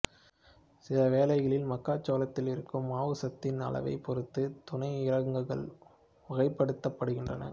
சில வேளைகளில் மக்காச்சோளத்தில் இருக்கும் மாவுச்சத்தின் அளவைப் பொறுத்து துணை இரககங்கள் வகைப்படுத்தப்படுகின்றன